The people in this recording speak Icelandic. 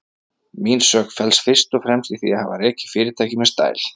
Mín sök felst fyrst og fremst í því að hafa rekið fyrirtækið með stæl.